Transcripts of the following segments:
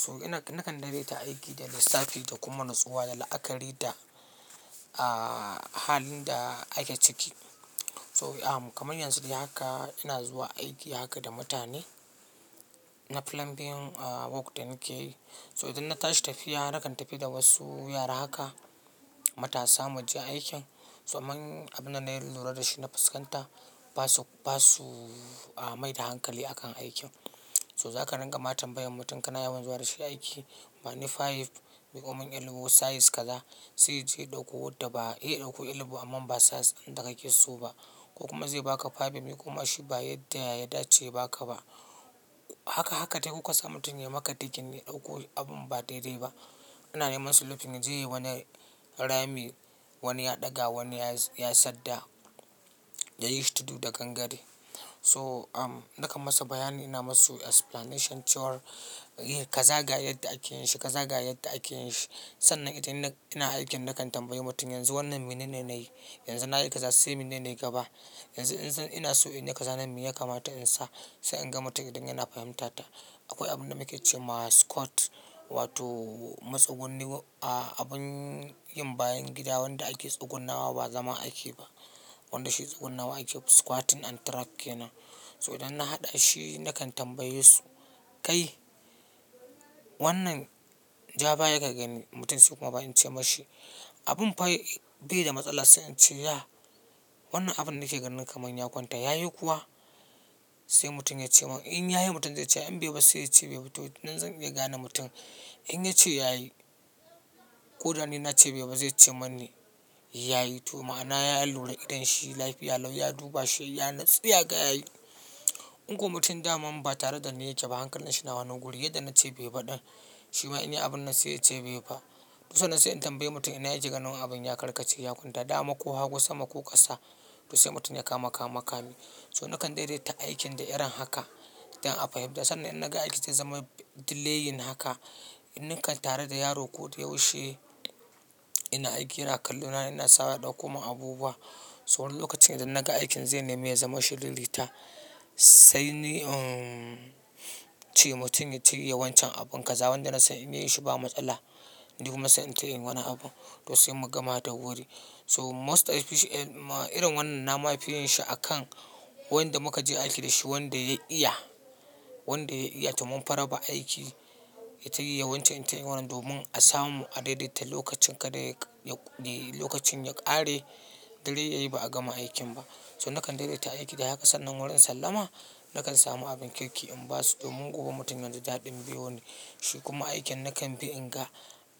So ina nakan daidaita aiki da lissafi to kuma natsuwa da la'akari da, ah, halin da ake ciki. So, am, kaman yanzu dai haka ina zuwa aiki haka da mutane. Na plumbing work da nike yi. So idan na tashi tafiya nakan tafi da wasu yara haka, matasa, muje aikin. So amman abin da na lura dashi na fuskanta, basu, basu, ah, mai da hankali akan aikin. So zaka rinka ma tambaya mutum kana yawan zuwa dashi aiki? Bani five miƙomin elbow size kaza sai yaje ɗauko wadda ba, ya ɗauko elbow amma ba size ɗin da kake so ba. Ko kuma zai baka five ya miƙo ma shi ba yadda ya dace baka ba. Haka, haka dai ku kasa mutum yayi maka diggin ya ɗauko abun ba daidai ba. Ina neman sulufi yaje yayi wani rami, wani ya ɗaga, wani yayi, yayi sadda, yayi shi tudu da gangare. So, am, nakan masa bayani, ina masu explanation cewa, "Eh, kaza ga yadda ake yinshi, kaza ga yadda ake yinshi." Sannan idan ina, ina aikin nakan tambayi mutum, "Yanzu wannan menene nayi? Yanzu nayi kaza sai menene gaba? Yanzu in, ina so inyi kaza mene ya kamata in sa?" Sai in ga mutum idan yana fahimtata. Akwai abin da muke cema squat wato matsugunni, ah, abin yin bayan gida wanda ake tsugunnawa ba zama ake ba. Wanda shi tsugunnawa ake squatting and track kenan. Idan na hadashi na kan tambaye su, kai! Wannan ja baya ka gani mutum sai kuma ba ince mashi, "Abin fa bai da matsala sai ince ya, wannan abin nake ganin kaman ya kwanta." Yayi kuwa sai mutum yace min in yayi mutum zai ce, "In baiba sai yace baiba." To nan zan iya gane mutum in yace yayi, ko da ni nace baiba zai ce mani yayi. To ma'ana ya lura idan shi lafiya lau ya duba shi yanatsu ya gaya yi. In ko mutum daman ba tare dani yake ba hankalinshi ya wani wuri. Yadda nace baiba ɗin shima in yayi abinnan sai yace baiba. To sannan sai in tambayi mutum ina yake ganin abin ya karkace, ya kwanta dama ko hagu sama ko ƙasa? To sai mutum ya kama kame. So nakan daidaita aikin da irin haka idan aka fahimta. Sannan idan naga aikin zai zama delayin haka, in nikan tare da yaro koda yaushe ina aiki yana kallo na ina sawa ya ɗauko min abubuwa. So lokacin idan naga aikin zai nemi ya zama shiririta, sai ni, umm, ce mutum ya shirya wancan abun. Kaza wanda nasan in yayi shi ba matsala. Ni kuma sai in tai inyi wani abu to sai mu gama da wuri. So most especially, eh, ma irin wannan na mafi yinshi akan wayanda muka je aiki dashi wanda ya iya, wanda ya iya to munfi raba aiki ya tai yayi wancan in tai inyi wannan domin a samu a daidaita lokacin kada yaƙa, ya, lokacin ya ƙare dare yayi ba a gama aikin ba. So nakan daidaita aiki da haka sannan wurin sallama nakan samu abin kirki in basu domin gobe mutum yaji daɗin biyo ni. Shi kuma aikin nakan bi in ga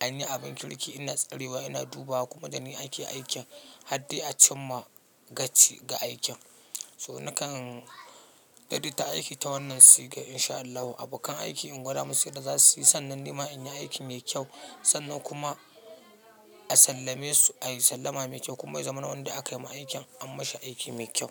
anyi abin kirki ina tsarewa ina dubawa kuma dani ake aikin har dai a cimma gaci ga aikin. So nakan daidaita aiki ta wannan siga insha Allahu. Abokan aiki in gwada musu yadda zasuyi sannan nima inyi aiki mai kyau. Sannan kuma a sallame su, ayi sallama mai kyau kuma ya zaman wanda aka yima aikin an mashi aiki mai kyau.